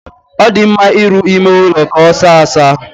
Ọ dị mma ịrụ ime ụlọ ka ọ saa asaa.